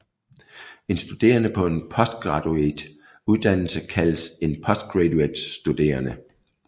En studerende på en postgraduat uddannelse kaldes en postgraduatstuderende